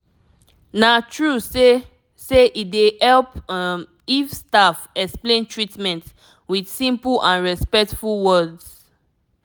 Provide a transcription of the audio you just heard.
na true say say e dey help um if staff explain treatment with simple and respectful words